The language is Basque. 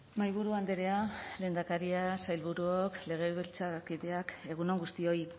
mahaiburu andrea lehendakaria sailburuok legebiltzarkideak egun on guztioi